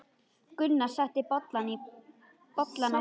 Gunnar setti bollana á borðið.